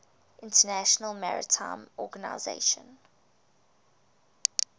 international maritime organization